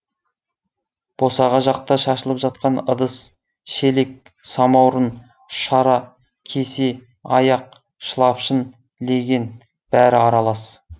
босаға жақта шашылып жатқан ыдыс шелек самаурын шара кесе аяқ шылапшын леген бәрі аралас